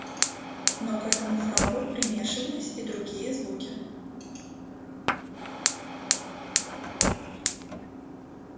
но к этому храпу примешивались и другие звуки